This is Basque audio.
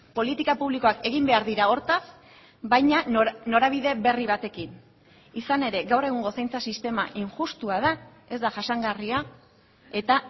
politika publikoak egin behar dira hortaz baina norabide berri batekin izan ere gaur egungo zaintza sistema injustua da ez da jasangarria eta